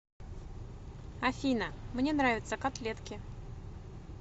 афина мне нравятся котлетки